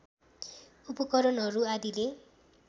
उपकरणहरू आदिले